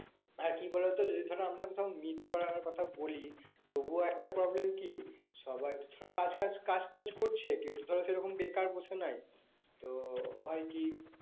আর কি বলতো যদি ধরো আমরা কোথাও meet করার কথা বলি তবু একটা peoblem কি সবার তো, সব কাজ কাজ টাজ করছে কেউ তো ধরো সেরকম বেকার বসে নাই। তো হয় কি